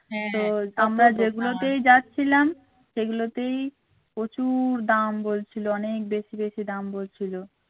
হ্যাঁ আমরা যেগুলোতেই যাচ্ছিলাম সেগুলোতেই প্রচুর দাম বলছিল অনেক বেশি বেশি দাম বলছিল।